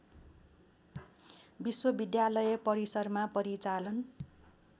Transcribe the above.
विश्वविद्यालय परिसरमा परिचालन